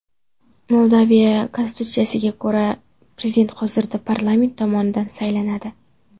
Moldaviya konstitutsiyasiga ko‘ra, prezident hozirda parlament tomonidan saylanadi.